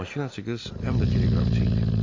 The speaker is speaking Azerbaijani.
Makinaçı qız həm də teleqrafçı idi.